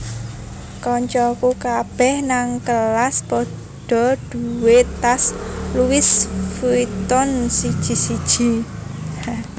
Kancaku kabeh nang kelas podo duwe tas Louis Vuitton siji siji